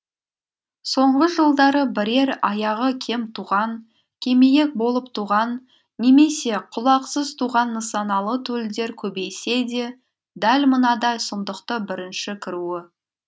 соңғы жылдары бірер аяғы кем туған кемиек болып туған немесе құлақсыз туған нысаналы төлдер көбейсе де дәл мынадай сұмдықты бірінші көруі